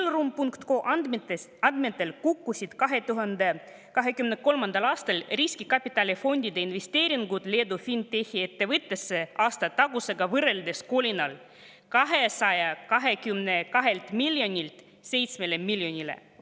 Dealroom.com andmetel kukkusid 2023. aastal riskikapitalifondide investeeringud Leedu fintech'i ettevõtetesse aastatagusega võrreldes kolinal: 222 miljonilt 7 miljonile.